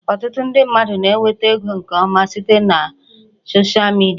Ọtụtụ ndị mmadụ na-enweta ego nke ọma site na soshịa midia